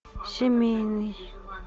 семейный